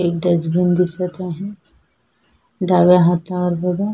एक डस्टबिन दिसत आहे डाव्या हातावर बघा.